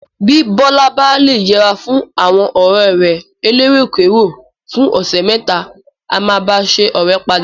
Bí Bọ́lá bá le yẹra fún àwọn ọ̀rẹ́ rẹ̀ eléròkérò fún ọ̀sẹ̀ mẹ́ta, á máa bá a ṣọ̀rẹ́ padà.